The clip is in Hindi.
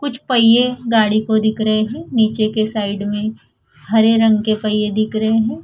कुछ पहिए गाड़ी को दिख रहें हैं नीचे के साइड में हरे रंग के पहिए दिख रहें हैं।